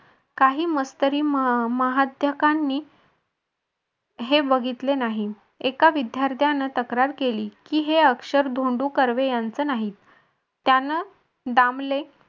काही मस्तकरी महत्याकांनी हे बघितले नाही. एका विद्यार्थ्यानं तक्रार केली की हे अक्षर धोंडू कर्वे यांचं नाही. त्यानं दामले